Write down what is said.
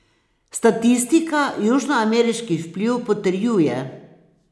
Statistika južnoameriški vpliv potrjuje.